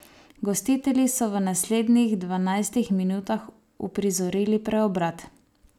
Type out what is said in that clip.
Gostitelji so v naslednjih dvanajstih minutah uprizorili preobrat.